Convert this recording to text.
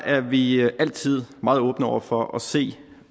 er vi altid meget åbne over for at se